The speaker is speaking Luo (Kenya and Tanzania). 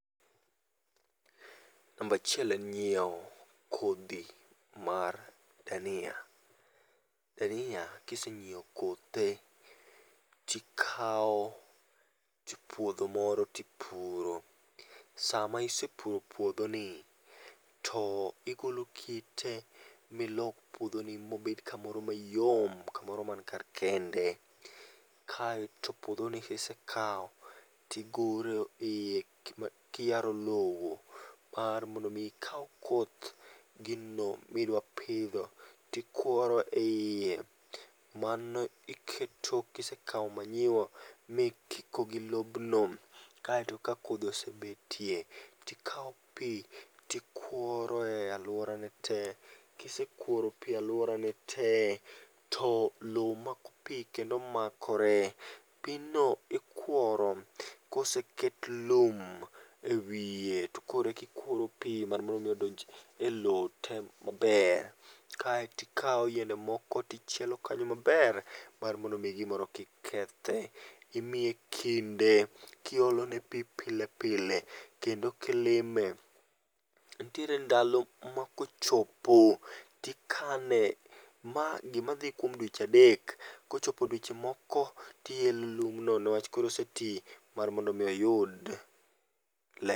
Namba achiel en nyiewo kodhi mar dania. Dania kisenyiewo kothe to ikawo puodho moro to ipuro. Sama isepuro puodhoni to igolo kite milos puodhoni mobed kamoro mayom, kamoro man kar kende. Kae to puodhoni kisekawo to igoro iye kiyaro lowo mar mondo mi ikaw koth gino midwa pidho to ikworo ieye. Mano iketo kisekawo manyiwa mikiko gi lobno ma kodhi osebetie, to ikawo pi, to ikuoro e aluorane te, kise kuoro pi e aluorane te, to lowo mako pi kendo makore. Pigno ikworo koseket lum ewiye, to koro eka ikworo pi mondo odonj e lowo maber. Kae to ikawo yiende moko to chielo kanyo maber mar mondo mi gimoro kik kethe. Imiye kinde kiolone pi pile pile kendo kilime. Nitiere ndalo makochopo to ikane. Ma gimadhi kuom dweche adek. Kochopo dweche moko to ielo lum no niwach koro oseti mar mondo mi oyud ler.